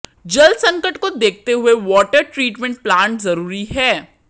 जलसंकट को देखते हुए वाटर ट्रीटमेंट प्लांट जरूरी है